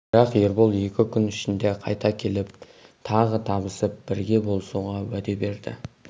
бірақ ербол екі күн ішінде қайта келіп тағы табысып бірге болысуға уәде берді